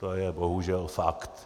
To je bohužel fakt.